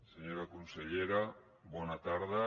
senyora consellera bona tarda